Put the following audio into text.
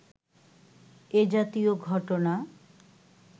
এ জাতীয় ঘটনা